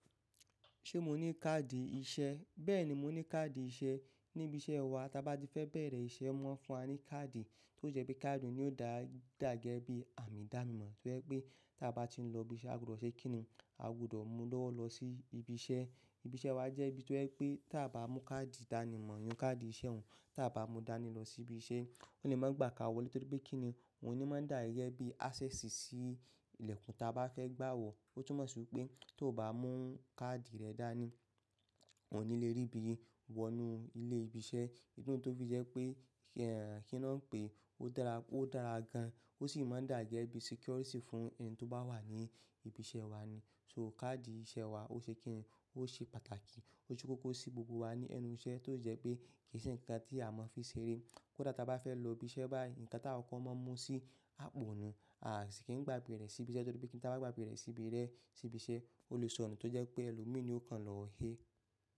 Ṣé mo ní káàdì iṣẹ́? Bẹ́ẹ̀ni, mo ní káàdì iṣẹ́. Níbi iṣẹ́ wa, tí a bá ti fẹ bẹ̀rẹ̀ iṣẹ́, wọ́n fún a ní káàdì tó jẹ́ pé káàdì òní ọ̀dà dà ge bí àmì ìdánimọ̀ tó jẹ́ pé tí a bá ti ń lọ ibiṣẹ́, a gbọdọ̀ ṣe kìn-ín-ní, a gbọdọ̀ mú lọ́wọ́ lọ sí ibi iṣẹ́. Ibi iṣẹ́ wa jẹ́ ibi tó jẹ́ pé tí a bá mú káàdì ìdánimọ̀ iyẹn káàdì iṣẹ́ òun, tí a bá mú dání lọ sí ibi iṣẹ́, wọn le máa gbà ka wọlé torí pé kìn-ín-ní òun ni máa dà bí access sí ilẹ̀kùn tí a bá fẹ́ gbà wọ̀. Ó tún mọ̀ sí wi pé tó bá mú káàdì rẹ dání, ò ní lè rí bí i wọ inú ilé ibi iṣẹ́. Idi nu tó fi jẹ́ pé, kí ni wọ́n ń pe é, ó dára gan. Ó sì máa dà gẹ́gẹ́ bí security fún ẹni tó bá wà ní ibi iṣẹ́ wa ni. So káàdì iṣẹ́ wa ó ṣe kìn-ín-ní, ó ṣe pàtàkì. O se koko si gbogbo wa lẹ́nu iṣẹ́ to si jẹ pe ko n se nkan ta mọ fi n ṣeré kódà tí a bá fẹ́ lọ ibiṣẹ́ báyìí, ǹkan tí an kọkọ mọ̀ mú sí àpò nù, à sì kí n gbàgbé rẹ̀ sí ibi iṣẹ́ torí pé kí n bá gbàgbé rẹ̀ sí ibi iṣẹ́, o le sọnu tó jẹ́ pé ẹlo mi ni ó kan lọ́ e.